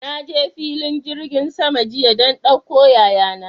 Na je filin jirgin sama jiya don ɗauko yaya na.